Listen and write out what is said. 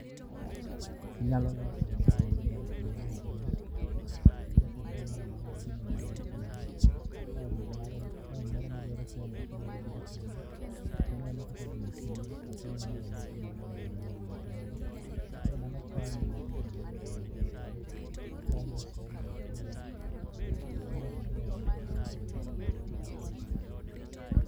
Anyalo loso wang' jowi moro kumoro maduong' ma japuonjre moro amora nyalo neno gima timore. Ka en moro madwaro somo to onyalo biro kanyo, toneno kaka gino tiyo to oneno ranyisi mar gino e wang' jowi kanyo. Koro mano konye e kendo konye e somo mapiyo kendo ber moloyo.